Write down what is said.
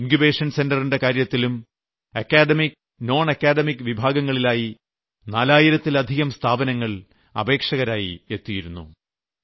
incubation centre ന്റെ കാര്യത്തിലും academic nonacademic വിഭാഗങ്ങളിലായി നാലായിരത്തിലധികം സ്ഥാപനങ്ങൾ അപേക്ഷകരായി എത്തിയിരുന്നു